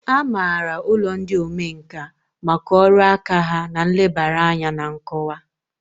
A maara ụlọ ndị omenkà maka ọrụ aka ha na nlebara anya na nkọwa.